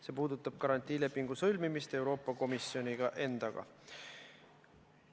See puudutab garantiilepingu sõlmimist Euroopa Komisjoni endaga.